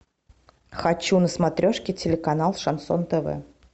хочу на смотрешке телеканал шансон тв